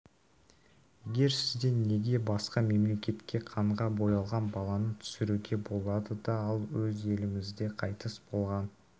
егер сізден неге басқа мемлекетте қанға боялған баланы түсіруге болады да ал өз елімізде қайтыс болған